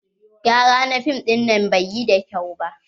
Gyara na fim dinnan bai yi da kyau ba.